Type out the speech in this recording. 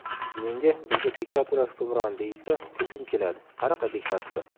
Menga ‘bizda diktatura hukmron’ deyishsa, kulgim keladi: qanaqa diktatura?